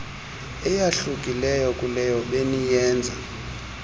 eyahlukileyo kuleyo beniyenze